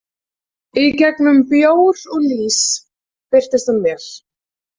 Í gegnum bjór og lýs birtist hún mér.